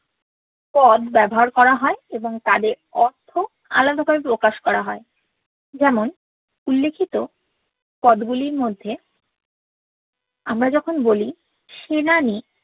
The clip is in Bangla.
পদ ব্যবহার করা হয় এবং তাদের অর্থ আলাদা ভাবে প্রকাশ কোরা হয় যেমন উল্লেখিত পদ গুলির মধ্যে আমরা যখন বলি সেনানি